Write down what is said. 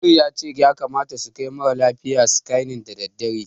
Amin ya ce ya kamata su kai mara lafiyar scanning da daddare.